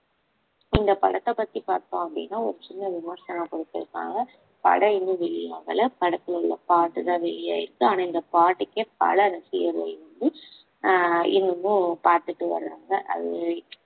இந்த படத்தை பத்தி பார்த்தோம் அப்படின்னா ஒரு சின்ன விமர்சனம் கொடுத்திருக்பாங்க படம் இன்னும் வெளி ஆகல படத்துல உள்ள பாட்டுதான் வெளியாயிருக்கு ஆனா இந்த பாட்டுக்கே பல ரசிகர்கள் வந்து ஆஹ் இன்னமும் பாத்துட்டு வர்றாங்க அது